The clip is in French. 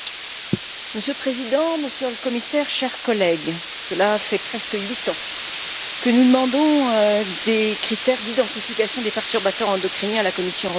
Monsieur le Président, Monsieur le Commissaire, chers collègues, cela fait presque huit ans que nous demandons des critères d'identification des perturbateurs endocriniens à la Commission européenne.